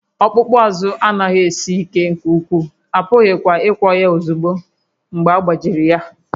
Ọkpụkpụ azụ anaghị esi ike nke ukwuu, a pụghịkwa ịgwọ ya ozugbo agbajiri ya